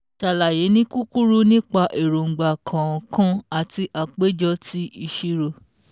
Sàlàyé ni kúkúrú nípa èróńgbà kọ̀ọ̀kan àti àpéjọ ti ìṣirò